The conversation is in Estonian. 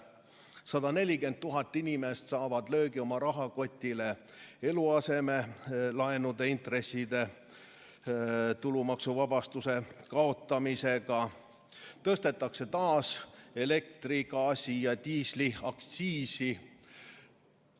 140 000 inimest saavad löögi oma rahakoti pihta eluasemelaenu intresside tulumaksuvabastuse kaotamise tõttu, taas tõstetakse elektri-, gaasi- ja diisliaktsiisi.